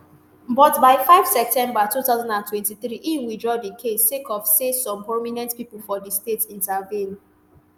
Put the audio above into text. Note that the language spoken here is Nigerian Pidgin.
but by five september two thousand and twenty-three e withdraw di case sake of say some prominent pipo for di state intervene